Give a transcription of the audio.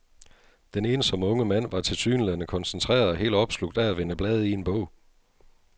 Den ensomme unge mand var tilsyneladende koncentreret og helt opslugt af at vende blade i en bog.